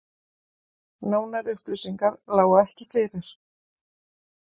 Nánari upplýsingar lágu ekki fyrir